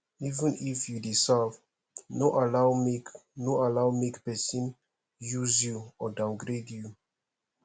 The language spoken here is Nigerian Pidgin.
even if you dey serve no allow make no allow make persin use you or downgrade you